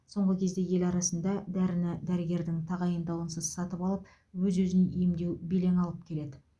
соңғы кезде ел арасында дәріні дәрігердің тағайындауынсыз сатып алып өз өзін емдеу белең алып келеді